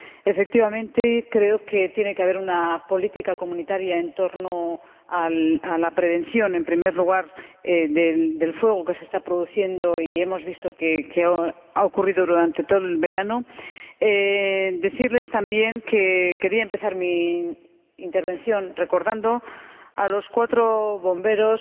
Efectivamente, creo que tiene que haber una política comunitaria en torno a la prevención, en primer lugar, de los incendios que se están produciendo y hemos visto que esto ha ocurrido durante todo el verano. Quiero decirles también que quería empezar mi intervención recordando a los cuatro bomberos